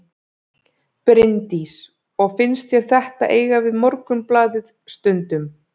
Bryndís: Og finnst þér þetta eiga við Morgunblaðið stundum?